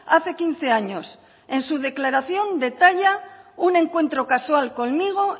hace quince años en su declaración detalla un encuentro casual conmigo